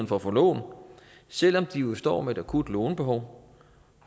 for at få lån selv om de jo står med et akut lånebehov